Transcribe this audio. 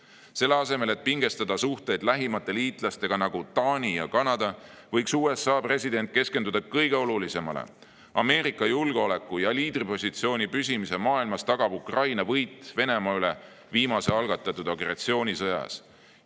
Selle asemel, et pingestada suhteid lähimate liitlastega, nagu Taani ja Kanada, võiks USA president keskenduda kõige olulisemale: Ameerika julgeoleku ja liidripositsiooni püsimise maailmas tagab Ukraina võit Venemaa üle viimase algatatud agressioonisõjas.